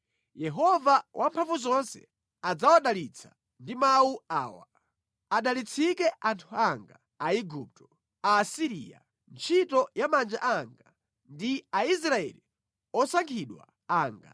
Yehova Wamphamvuzonse adzawadalitsa, ndi mawu awa, “Adalitsike anthu anga Aigupto, Aasiriya, ntchito ya manja anga, ndi Aisraeli osankhidwa anga.”